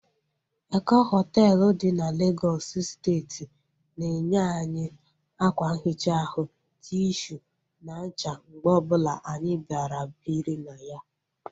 Eko hoteelu dị n'Legọsụ steeti na enye anyị akwa nhicha ahu, tishu na ncha mgbe ọbụla anyị bịara biri na ya